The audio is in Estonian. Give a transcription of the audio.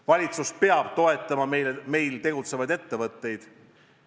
Valitsus peab toetama meil tegutsevaid ettevõtteid.